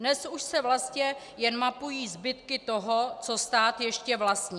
Dnes už se vlastně jen mapují zbytky toho, co stát ještě vlastní.